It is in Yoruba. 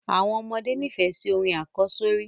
Àwọn ọmọdé nifẹ sí orin àkọ́sọ́rí